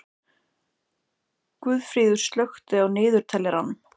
Guðfríður, slökktu á niðurteljaranum.